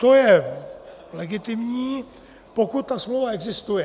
To je legitimní, pokud ta smlouva existuje.